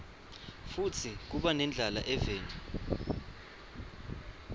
futsi kuba nendlala eveni